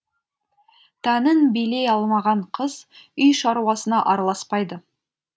тәнін билей алмаған қыз үй шаруасына араласпайды